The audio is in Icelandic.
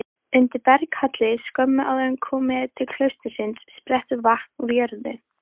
Undir berghalli skömmu áður en komið er til klaustursins sprettur vatn úr jörðu.